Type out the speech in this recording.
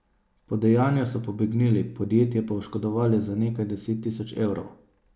Po dejanju so pobegnili, podjetje pa oškodovali za nekaj deset tisoč evrov.